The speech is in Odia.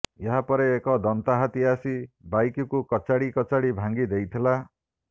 ଏହାପରେ ଏକ ଦନ୍ତା ହାତୀ ଆସି ବାଇକ୍କୁ କଚାଡ଼ି କଚାଡ଼ି ଭାଙ୍ଗି ଦେଇଥିଲା